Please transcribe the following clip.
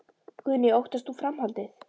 Guðný: Óttast þú framhaldið?